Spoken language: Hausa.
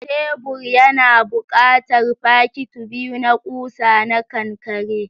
Tebur yana buƙatar fakiti biyu na ƙusa na kankare.